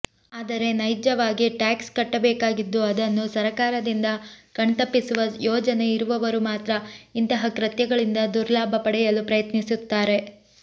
ಆದರೆ ನೈಜವಾಗಿ ಟ್ಯಾಕ್ಸ್ ಕಟ್ಟಬೇಕಾಗಿದ್ದು ಅದನ್ನು ಸರಕಾರದಿಂದ ಕಣ್ತಪ್ಪಿಸುವ ಯೋಜನೆ ಇರುವವರು ಮಾತ್ರ ಇಂತಹ ಕೃತ್ಯಗಳಿಂದ ದುರ್ಲಾಭ ಪಡೆಯಲು ಪ್ರಯತ್ನಿಸುತ್ತಾರೆ